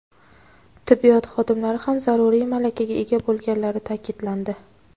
tibbiyot xodimlari ham zaruriy malakaga ega bo‘lganlari ta’kidlandi.